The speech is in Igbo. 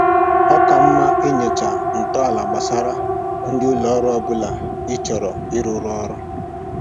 Ọ ka mma inyocha ntọala gbasara ndị ụlọ ọrụ ọbụla ị chọrọ ịrụrụ ọrụ